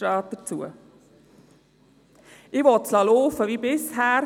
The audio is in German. Ich will es so laufen lassen wie bisher.